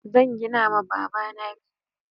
Zan gina ma baba na bene